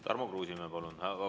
Tarmo Kruusimäe, palun!